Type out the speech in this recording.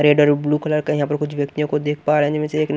red और blue colour का यहां पर कुछ व्यक्तियों को देख पा रहे जिसमें से एक ने--